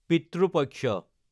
পিত্ৰো পক্ষ